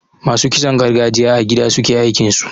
Masu kitson gargajiya a gida suke aikinsu.